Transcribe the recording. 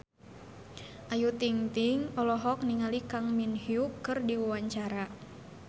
Ayu Ting-ting olohok ningali Kang Min Hyuk keur diwawancara